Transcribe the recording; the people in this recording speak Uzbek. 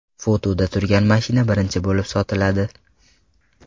Fotoda turgan mashina birinchi bo‘lib sotiladi.